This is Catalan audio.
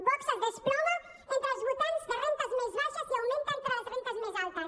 vox es desploma entre els votants de rendes més baixes i augmenta entre les rendes més altes